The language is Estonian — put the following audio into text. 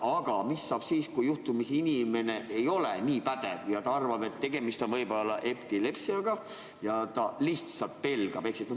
Aga mis saab siis, kui inimene juhtumisi ei ole nii pädev ja arvab, et võib-olla on tegemist epilepsiaga, ja ta lihtsalt pelgab?